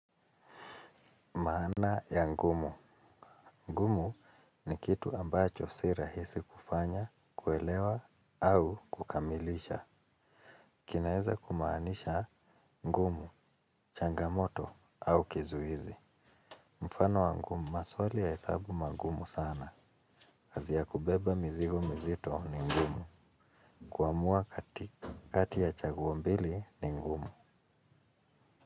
Maana ya ngumu. Ngumu ni kitu ambacho si rahisi kufanya, kuelewa au kukamilisha. Kinaeza kumaanisha ngumu, changamoto au kizuizi. Mfano wa ngumu, maswali ya hesabu magumu sana. Kazi ya kubeba mizigo mizito ni ngumu. Kuamua kati ya chaguo mbili ni ngumu.